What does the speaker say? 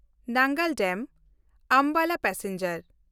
ᱱᱟᱝᱜᱟᱞ ᱰᱮᱢ–ᱟᱢᱵᱟᱞᱟ ᱯᱮᱥᱮᱧᱡᱟᱨ